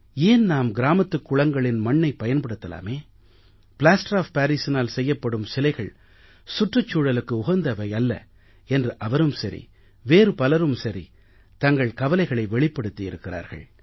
ஏன் நாம் கிராமத்துக் குளங்களின் மண்ணைப் பயன்படுத்தலாமே பிளாஸ்டர் ஒஃப் parisஇனால் செய்யப்படும் சிலைகள் சுற்றுச் சூழலுக்கு உகந்தவை அல்ல என்று அவரும் சரி வேறு பலரும் சரி தங்கள் கவலைகளை வெளிப்படுத்தி இருக்கிறார்கள்